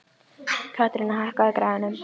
Katharina, hækkaðu í græjunum.